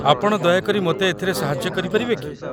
ଆପଣ ଦୟାକରି ମୋତେ ଏଥିରେ ସାହାଯ୍ୟ କରିପାରିବେ କି?